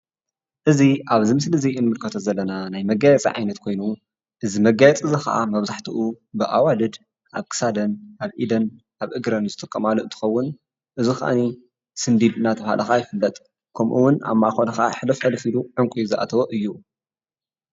እዚ አብዚ ምስሊ እዚ እንምልከቶ ዘለና ናይ መጋየፂ ዓይነት ኮይኑ፤ እዚ መጋየፂ እዚ ከአ መብዛሕትኡ ብአዋልድ አብ ክሳደን፣ ኣብ ኢደን፣ አብ እግረን ዝጥቀማሉ እንተኸውን፤ እዚ ከአ ስንዲድ እናተብሃለ ከአ ይፍለጥ፡፡ ከምኡውን አብ ማእከሉ ከአ ሕልፍ ሕልፍ ኢሉ ዕንቍ ዝአተዎ እዩ፡፡